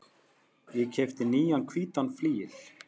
Ég keypti nýjan hvítan flygil.